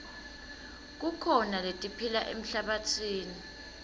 kukhona letiphila emhlabatsini